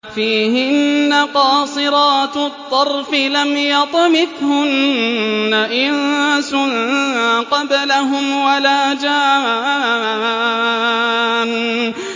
فِيهِنَّ قَاصِرَاتُ الطَّرْفِ لَمْ يَطْمِثْهُنَّ إِنسٌ قَبْلَهُمْ وَلَا جَانٌّ